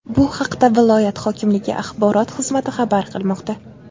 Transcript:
Bu haqda viloyat hokimligi axborot xizmati xabar qilmoqda.